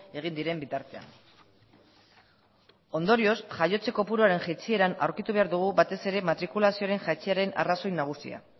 egin diren bitartean ondorioz jaiotze kopuruaren jaitsieran aurkitu behar dugu batez ere matrikulazioaren jaitsiaren arrazoi nagusia